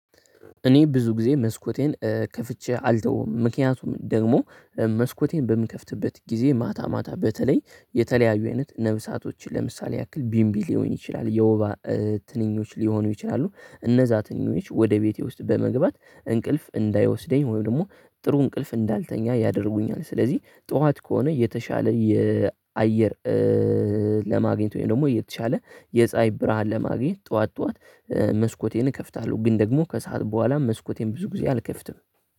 እኔ ብዙ ጊዜ መስኮቴን ከፍቼ አልተውም ምክንያቱም ደግሞ መስኮቴን በምከፍትበት ጊዜ ማታ ማታ በተለይ የተለያዩ አይነት ነፍሳቶችን ለምሳሌ ያክል ቢንቢ ሊሆን ይችላል የወባ ትንኞች ሊሆኑ ይችላሉ እነዛ ትንኞች ወደ ቤቴ ውስጥ በመግባት እንቅልፍ እንዳይወስደኝ ወይም ደግሞ ጥሩ እንቅልፍ እንዳልተኛ ያደርጉኛል። ስለዚህ ጠዋት ከሆነ የተሻለ የአየር ለማግኘት ወይም ደግሞ የተሻለ የፀሀይ ብርሃን ለማግኘት ጠዋት ጠዋት መስኮቴን እከፍታለሁ። ግን ደግሞ ከሰአት በኋላ መስኮቴን ብዙ ጊዜ አልከፍትም